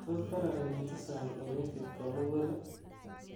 tos kararanitu sang en wifit komugul ii